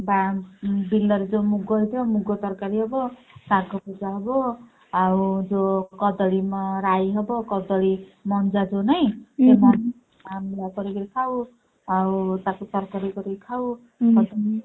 ବା~ ବିଲରେ ଯୋଉ ମୁଗ ହେଇଥିବ ମୁଗ ତରକାରୀ ହବ ଶାଗ ଭଜା ହବ ଆଉ ଯୋଉ କଦଳୀ ମ~ ରାଇ ହବ କଦଳୀ ମଞ୍ଜା ଯୋଉ ନାଇଁ ଆଉ ତାକୁ ତରକାରୀ କରିକିରି ଖାଉ